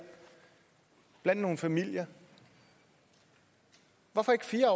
blandt nogle familier hvorfor ikke fire